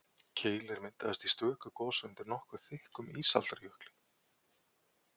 Keilir myndaðist í stöku gosi undir nokkuð þykkum ísaldarjökli.